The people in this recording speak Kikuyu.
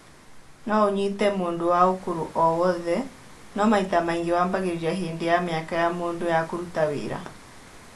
No ũnyite mũndũ wa ũkũrũ o wothe, no maita maingĩ wambagĩrĩria hĩndĩ ya mĩaka ya mũndũ ya kũruta wĩra